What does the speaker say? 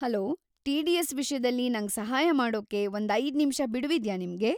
Hello, TDS. ವಿಷ್ಯದಲ್ಲಿ ನಂಗ್ ಸಹಾಯ ಮಾಡೋಕೆ ಒಂದೈದ್ನಿಮ್ಷ ಬಿಡುವಿದ್ಯಾ ನಿಮ್ಗೆ?